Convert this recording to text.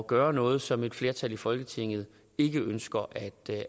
gøre noget som et flertal i folketinget ikke ønsker at